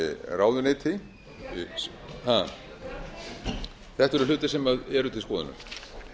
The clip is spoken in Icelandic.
ráðuneyti þetta eru hlutir sem eru til skoðunar